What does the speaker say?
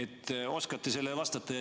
Kas oskate sellele vastata?